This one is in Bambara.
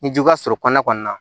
Ni jugu ka suru kɔnɔna kɔni na